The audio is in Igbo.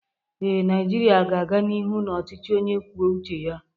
Ee, Naijiria ga-aga n'ihu na ọchịchị onye kwuo uche ya